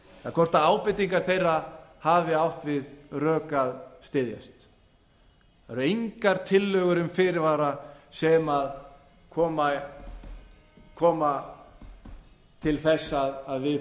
hrl hvort ábendingar þeirra hafi átt við rök að styðjast það eru engar tillögur um fyrirvara sem koma til þess að við